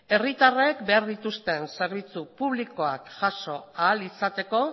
herritarrek behar dituzten zerbitzu publikoak jaso ahal izateko